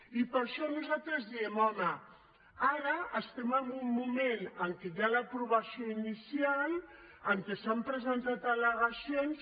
i per això nosaltres diem home ara estem en un moment en què hi ha l’aprovació inicial en què s’han presentat al·legacions